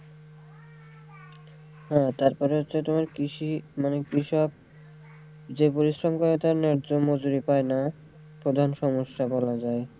হ্যাঁ তারপরে হচ্ছে তোমার কৃষি মানে কৃষক যে পরিশ্রম করে তার জন্য মজুরি পায়না প্রধান সমস্যা বলা যায়।